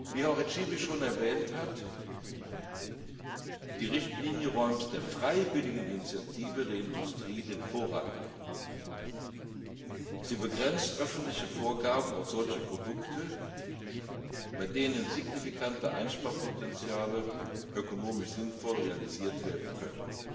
Wie auch Herr Csibi schon erwähnt hat, räumt die Richtlinie der freiwilligen Initiative der Industrie den Vorrang ein. Sie begrenzt öffentliche Vorgaben auf solche Produkte, bei denen signifikante Einsparpotenziale ökonomisch sinnvoll realisiert werden können.